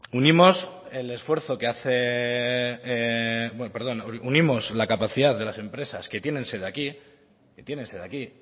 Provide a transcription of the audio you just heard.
unimos la capacidad de las empresas que tienen sede aquí